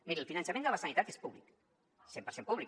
miri el finançament de la sanitat és públic cent per cent públic